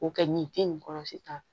O kɛ nin te nin kɔrɔsi kan